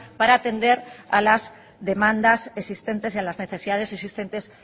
para atender a las demandas existentes y a las necesidades existentes